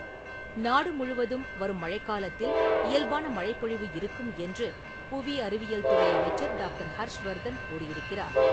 நாடுமுழுவதும் வரும் மழைக்காலத்தில் இயல்பான மழைப்பொழிவு இருக்கும் என்று, புவி அறிவியல் துறை அமைச்சர் டாக்டர். ஹர்ஷ்வர்தன் கூறியிருக்கிறார்.